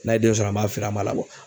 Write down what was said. N'a ye den sɔrɔ an m'a feere a ma